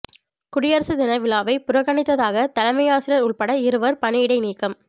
குடியரசு தின விழாவை புறக்கணித்ததாக தலைமையாசிரியா் உள்பட இருவா் பணியிடை நீக்கம்